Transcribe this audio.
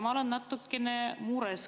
Ma olen natukene mures.